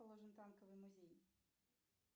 танковый музей